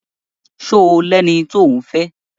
Ṣo lẹni tí òún fẹ́?